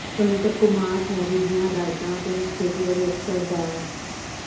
ਸੁਤੰਤਰ ਕੁਮਾਰ ਐਰੀ ਦੀਆਂ ਹਦਾਇਤਾਂ ਅਤੇ ਮੁੱਖ ਖੇਤੀਬਾੜੀ ਅਫ਼ਸਰ ਡਾ